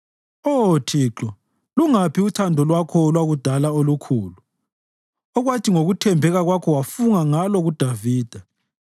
Oh Thixo, lungaphi uthando lwakho lwakudala olukhulu, okwathi ngokuthembeka kwakho wafunga ngalo kuDavida?